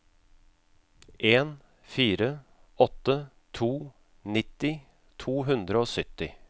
en fire åtte to nitti to hundre og sytti